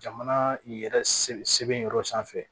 Jamana yɛrɛ sebe yɔrɔ sanfɛ